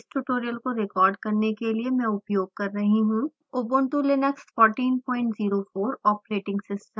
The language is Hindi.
इस ट्यूटोरियल को रिकॉर्ड करने के लिए मैं उपयोग कर रही हूँ ubuntu linux 1404 ऑपरेटिंग सिस्टम